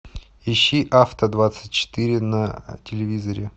ищи авто двадцать четыре на телевизоре